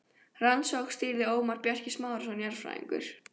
Rannsóknum stýrði Ómar Bjarki Smárason jarðfræðingur.